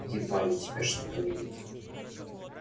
едва ли у тебя что-то выйдет